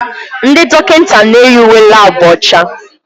Ndị dọkịta na-eyi uwe laabu ọcha.